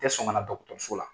tɛ sɔn kana so la.